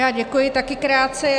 Já děkuji, také krátce.